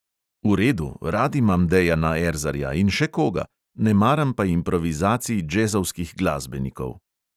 V redu, rad imam dejana erzarja in še koga, ne maram pa improvizacij džezovskih glasbenikov.